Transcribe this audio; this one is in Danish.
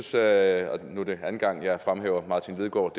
sagde og nu er det anden gang jeg fremhæver martin lidegaard